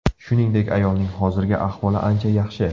Shuningdek, ayolning hozirgi ahvoli ancha yaxshi.